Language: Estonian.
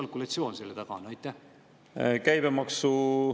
Mis kalkulatsioon selle taga on?